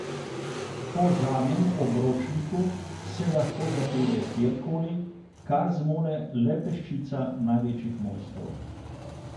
Po zadnjem obročniku se lahko zapelje kjer koli, kar zmore le peščica največjih mojstrov.